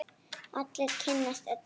Allir kynnast öllum.